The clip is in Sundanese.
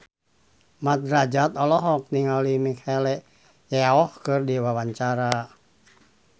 Mat Drajat olohok ningali Michelle Yeoh keur diwawancara